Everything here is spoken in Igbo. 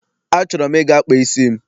Achọrọ m ịga kpaa isi m.